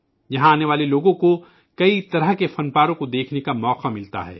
یہاں آنے والے لوگوں کو کئی طرح کے فن پارے دیکھنے کا موقع ملتا ہے